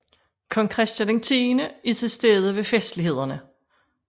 Kong Christian X er til stede ved festlighederne